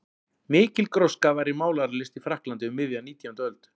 Mikil gróska var í málaralist í Frakklandi um miðja nítjándu öld.